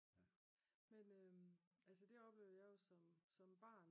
Men altså det oplevede jeg jo som som barn